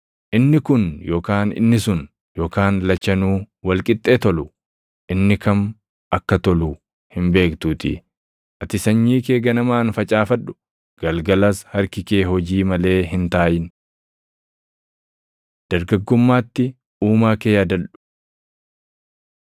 Inni kun yookaan inni sun, yookaan lachanuu wal qixxee tolu; inni kam akka tolu hin beektuutii; ati sanyii kee ganamaan facaafadhu; galgalas harki kee hojii malee hin taaʼin. Dargaggummaatti Uumaa kee Yaadadhu